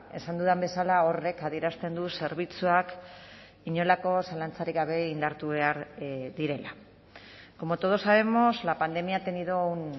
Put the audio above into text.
esan dudan bezala horrek adierazten du zerbitzuak inolako zalantzarik gabe indartu behar direla como todos sabemos la pandemia ha tenido un